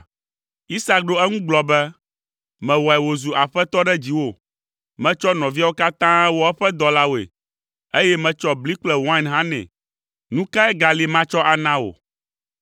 Isak ɖo eŋu gblɔ be, “Mewɔe wòzu aƒetɔ ɖe dziwò, metsɔ nɔviawo katã wɔ eƒe dɔlawoe, eye metsɔ bli kple wain hã nɛ. Nu kae gali matsɔ ana wò.”